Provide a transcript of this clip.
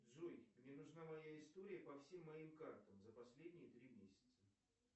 джой мне нужна моя история по всем моим картам за последние три месяца